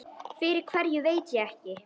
Fyrir hverju veit ég ekki.